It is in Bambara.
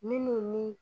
Minnu ni